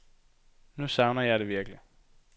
Nu savner jeg det virkelig.